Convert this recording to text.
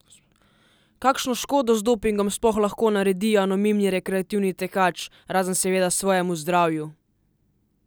Kakšno škodo z dopingom sploh lahko naredi anonimni rekreativni tekač, razen seveda svojemu zdravju?